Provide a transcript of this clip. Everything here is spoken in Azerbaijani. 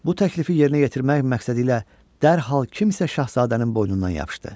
Bu təklifi yerinə yetirmək məqsədi ilə dərhal kimsə şahzadənin boynundan yapışdı.